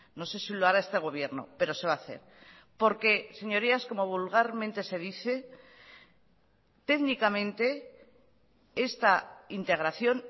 no sé si lo hará este gobierno pero se va a hacer porque señorías como vulgarmente se dice técnicamente esta integración